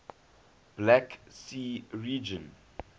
black sea region